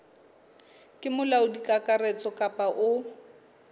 ke molaodi kakaretso kapa o